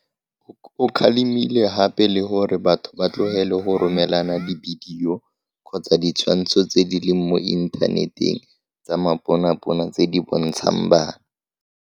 O kgalemile gape le gore batho ba tlogele go romelana dibidio kgotsa ditshwantsho tse di leng mo inthaneteng tsa maponapona tse di bontshang bana.